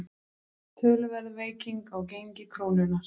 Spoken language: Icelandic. Töluverð veiking á gengi krónunnar